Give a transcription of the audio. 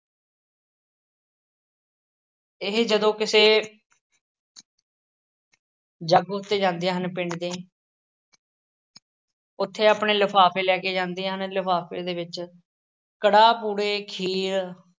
ਇਹ ਜਦੋਂ ਕਿਸੇ ਜਾਗੋ 'ਤੇ ਜਾਂਦੀਆਂ ਹਨ ਪਿੰਡ ਦੀ ਉੱਥੇ ਆਪਣੇ ਲਿਫ਼ਾਫ਼ੇ ਲੈ ਕੇ ਜਾਂਦੀਆਂ ਹਨ, ਲਿਫ਼ਾਫ਼ੇ ਦੇ ਵਿੱਚ ਕੜਾਹ, ਪੂੜੇ, ਖੀਰ